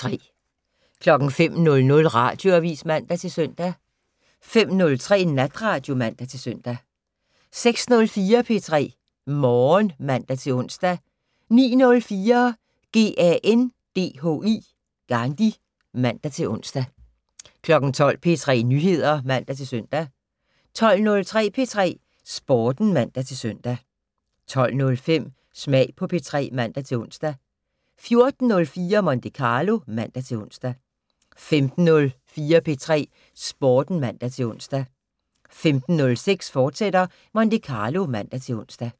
05:00: Radioavis (man-søn) 05:03: Natradio (man-søn) 06:04: P3 Morgen (man-ons) 09:04: GANDHI (man-ons) 12:00: P3 Nyheder (man-søn) 12:03: P3 Sporten (man-søn) 12:05: Smag på P3 (man-ons) 14:04: Monte Carlo (man-ons) 15:04: P3 Sporten (man-ons) 15:06: Monte Carlo, fortsat (man-ons)